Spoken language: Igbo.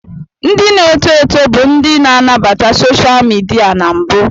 Ndị na-eto eto bụ ndị na-anabata soshal midia na mbụ.